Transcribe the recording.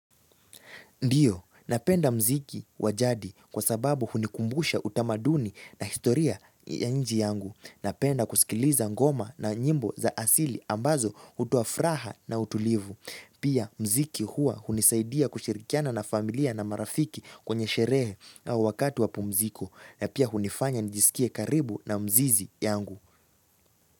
Ndiyo, napenda mziki wa jadi kwa sababu hunikumbusha utamaduni na historia ya nchi yangu. Napenda kusikiliza ngoma na nyimbo za asili ambazo hutoa furaha na utulivu. Pia mziki hua hunisaidia kushirikiana na familia na marafiki kwenye sherehe au wakati wa pumziko. Na pia hunifanya nijisikie karibu na mzizi yangu.